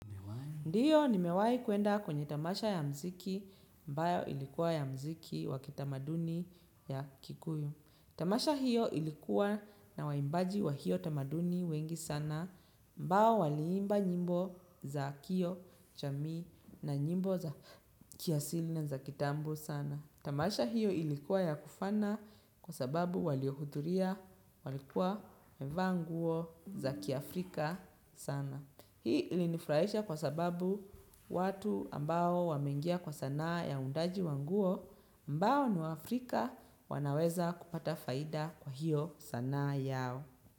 Ndiyo nimewahi kuenda kwenye tamasha ya muziki ambayo ilikuwa ya muziki wa kitamaduni ya kikuyu. Tamasha hiyo ilikuwa na waimbaji wa hiyo tamaduni wengi sana ambao waliimba nyimbo za kioo jamii na nyimbo za kiasili na za kitambo sana. Tamasha hiyo ilikuwa ya kufana kwa sababu waliohudhuria walikuwa wamevaa nguo za kiafrika sana. Hii ilinifurahisha kwa sababu watu ambao wameingia kwa sanaa ya uundaji wa nguo ambao ni waafrika wanaweza kupata faida kwa hiyo sanaa yao.